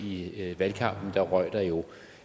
i valgkampen røg der jo